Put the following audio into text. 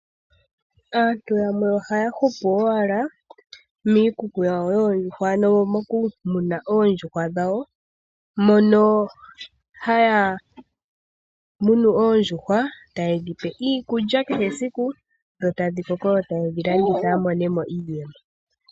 Aantu yamwe ohaya hupu ashike miikuku yawo yoondjuhwa, moku muna oondjuhwa dhawo mono haya munu oondjuhwa tayedhipe iikulya kehe esiku, opo dhikoke yedhilandithe yamone iimaliwa.